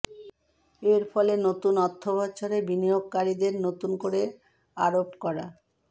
এর ফলে নতুন অর্থবছরে বিনিয়োগকারীদের নতুন করে আরোপ করা